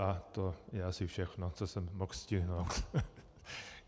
A to je asi všechno, co jsem mohl stihnout.